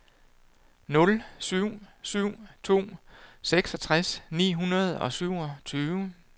nul syv syv to seksogtres ni hundrede og syvogtyve